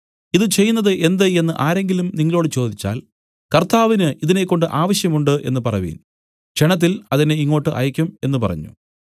ഇതു ചെയ്യുന്നതു എന്ത് എന്നു ആരെങ്കിലും നിങ്ങളോടു ചോദിച്ചാൽ കർത്താവിന് ഇതിനെക്കൊണ്ട് ആവശ്യം ഉണ്ട് എന്നു പറവിൻ ക്ഷണത്തിൽ അതിനെ ഇങ്ങോട്ട് അയയ്ക്കും എന്നു പറഞ്ഞു